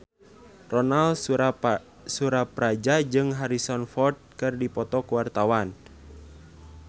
Ronal Surapradja jeung Harrison Ford keur dipoto ku wartawan